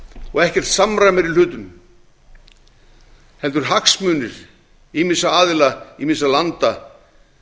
og ekkert samræmi er í hlutum heldur hagsmunir ýmissa aðila ýmissa landa